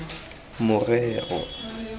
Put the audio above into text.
morero